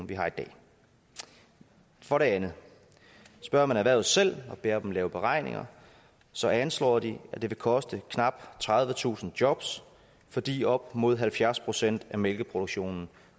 vi har i dag for det andet spørger man erhvervet selv og beder dem lave beregninger så anslår de at det vil koste knap tredivetusind jobs fordi op mod halvfjerds procent af mælkeproduktionen